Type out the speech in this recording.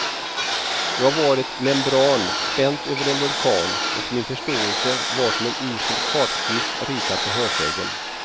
Jag var ett membran spänt över en vulkan och min förståelse var som en usel kartskiss ritad på hörsägen.